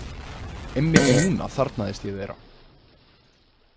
Einmitt núna þarfnaðist ég þeirra.